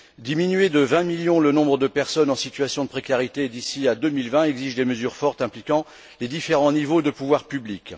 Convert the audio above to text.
Diminuer de 20 millions le nombre de personnes en situation de précarité d'ici à 2020 exige des mesures fortes impliquant les différents niveaux de pouvoir public.